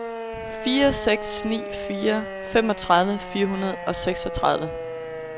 fire seks ni fire femogtredive fire hundrede og seksogtredive